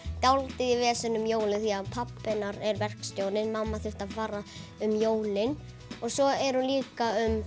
dálítið í veseni um jólin því pabbi hennar er verkstjóri og mamma þurfti að fara um jólin og svo er hún líka um